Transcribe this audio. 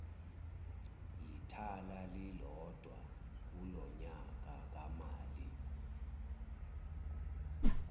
yithala lilodwa kulonyakamali